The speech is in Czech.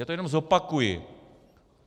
Já to jenom zopakuji: